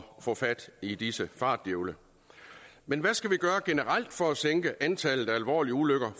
få fat i disse fartdjævle men hvad skal vi gøre generelt for at sænke antallet af alvorlige ulykker